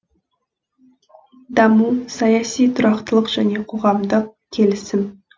даму саяси тұрақтылық және қоғамдық келісім